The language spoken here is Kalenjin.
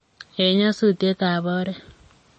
Eng nyasutietab oret.